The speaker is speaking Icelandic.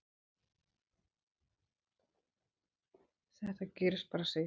Þetta gerist bara, segir hann.